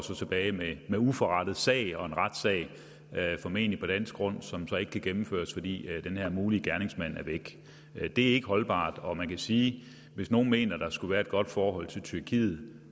tilbage med med uforrettet sag og en retssag formentlig på dansk grund som ikke kan gennemføres fordi den her mulige gerningsmand er væk det er ikke holdbart og man kan sige at hvis nogen mener der skulle være et godt forhold til tyrkiet